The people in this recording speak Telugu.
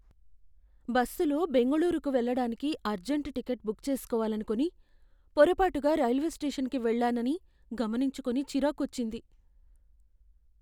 బస్సులో బెంగుళూరుకు వెళ్లడానికి అర్జంట్ టికెట్ బుక్ చేసుకోవాలనుకొని, పొరపాటుగా రైల్వే స్టేషన్కి వెళ్లానని గమనించుకొని చిరాకొచ్చింది.